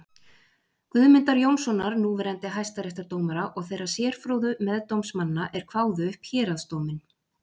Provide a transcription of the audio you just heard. Guðmundar Jónssonar núverandi hæstaréttardómara og þeirra sérfróðu meðdómsmanna er kváðu upp héraðsdóminn.